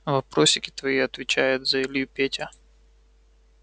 вопросики твои отвечает за илью петя